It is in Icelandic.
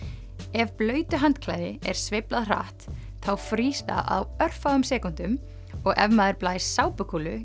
ef blautu handklæði er sveiflað hratt þá frýs það á örfáum sekúndum og ef maður blæs